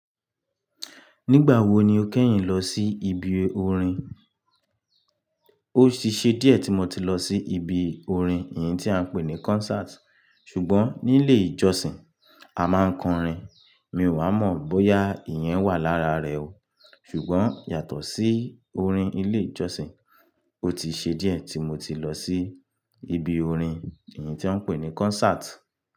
Nígbà wo ni o kẹ́yìn lọ sí ibi orin? Ó ti ṣẹ́ díẹ̀ tí mo ti lọ sí ibi orin, èyí tí a ń pè ní concert. Ṣùgbọ́n nílé ìjọsìn a máa ń kọrin. Mi ò wa mọ̀ bóyá ìyẹn wà lára rẹ o. Ṣùgbọ́n yàtọ̀ sí orin ilé ìjọsìn, ó ti ṣe díẹ̀ tí mo ti lọ sí ibi orin, èyí tí a ń pè ní concert.